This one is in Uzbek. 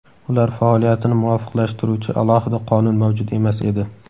ular faoliyatini muvofiqlashtiruvchi alohida qonun mavjud emas edi.